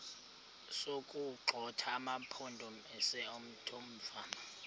sokuwagxotha amampondomise omthonvama